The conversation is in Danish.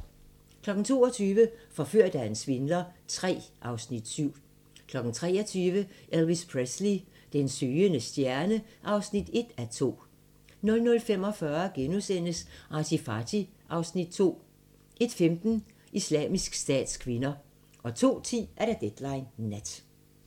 22:00: Forført af en svindler III (Afs. 7) 23:00: Elvis Presley: Den søgende stjerne (1:2) 00:45: ArtyFarty (Afs. 2)* 01:15: Islamisk Stats kvinder 02:10: Deadline Nat